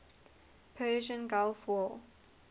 persian gulf war